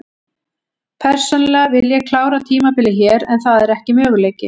Persónulega vil ég klára tímabilið hér en það er ekki möguleiki.